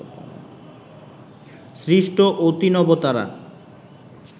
সৃষ্ট অতিনবতারা